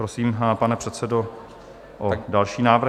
Prosím, pane předsedo, o další návrhy.